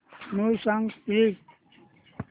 new songs please